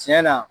Tiɲɛ na